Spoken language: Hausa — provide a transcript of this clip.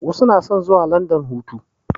Wasu na son zuwa landan hutu